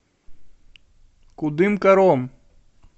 кудымкаром